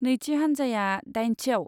नैथि हानजाया दाइनथियाव।